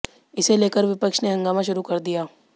इसे लेकर विपक्ष ने हंगामा शुरू कर दिया